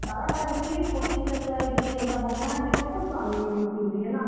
ବାରଟା ହେଇଥିଲେ କି ପଚିସ୍ ଟା ଛୁଆ ହେଇଥିଲେ ଯେ ହେନ୍ତା ବଢିଆ ବଢିଆ ଛୋଟ୍ ଛୋଟ୍ ଛୁଆ ମାନେ ବହୁତ୍ ଟେ ଥିଲେ ନା ନାନୀ?